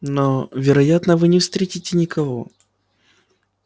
но вероятно вы не встретите никого